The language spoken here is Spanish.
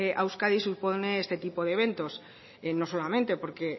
a euskadi supone este tipo de eventos no solamente porque